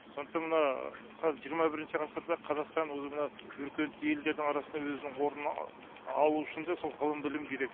сондықтан мына қазір жиырма бірінші ғасырда қазақстан өзі мына өркениетті елдердің арасында өзінің орнын алуы үшін де сол ғылым білім керек